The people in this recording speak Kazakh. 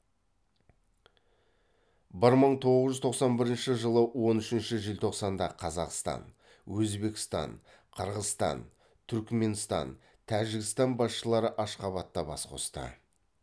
бір мың тоғыз жүз тоқсан бірінші жылы он үшінші желтоқсанда қазақстан өзбекстан қырғызстан түркіменстан тәжікстан басшылары ашхабадта бас қосты